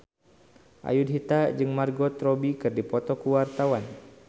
Ayudhita jeung Margot Robbie keur dipoto ku wartawan